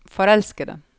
forelskede